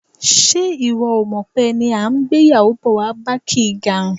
Ṣé ìwọ ò mọ̀ pé ẹni à ń gbéyàwó bọ̀ wá bá kì í garùn?